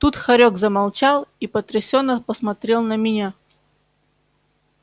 тут хорёк замолчал и потрясенно посмотрел на меня